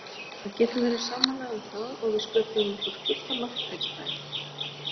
Við getum verið sammála um það og við sköpuðum okkur fullt af marktækifærum.